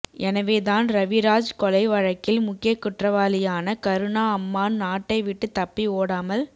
எனவேதான் ரவிராஜ் கொலை வழக்கில் முக்கிய குற்றவாளியான கருணா அம்மான் நாட்டை விட்டு தப்பி ஓடாமல்